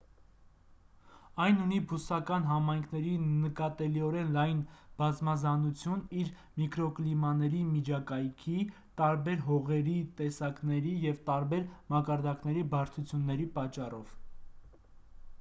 այն ունի բուսական համայնքների նկատելիորեն լայն բազմազանություն իր միկրոկլիմաների միջակայքի տարբեր հողերի տեսակների և տարբեր մակարդակների բարձրությունների պատճառով